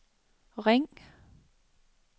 ring